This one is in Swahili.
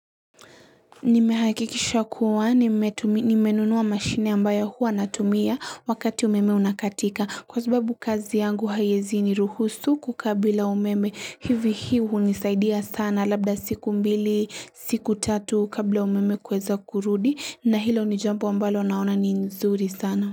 Nimehakikisha kuwa nimenunua mashine ambayo huwa natumia wakati umeme unakatika kwa sababu kazi yangu haiwezi ni ruhusu kukaa bila umeme hivi hii hunisaidia sana labda siku mbili siku tatu kabla umeme kuweza kurudi na hilo ni jambo ambalo naona ni nzuri sana.